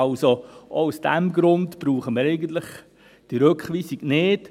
Auch aus diesem Grund brauchen wir diese Rückweisung nicht.